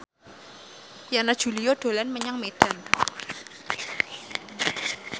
Yana Julio dolan menyang Medan